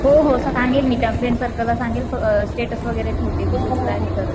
हो हो सांगेल मी त्या फ्रेंड सर्कलला सांगेल अ स्टेट्स वगैरे ठेवतील